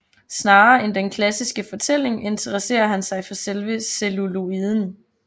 Snarere end den klassiske fortælling interesserer han sig for selve celluloiden